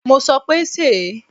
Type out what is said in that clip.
Mo sọ pé, sèé.!